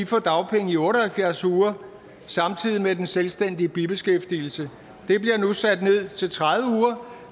få dagpenge i otte og halvfjerds uger samtidig med at den selvstændige bibeskæftigelse det bliver nu sat ned til tredive uger